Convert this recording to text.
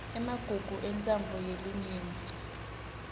emagugu entsandvo yelinyenti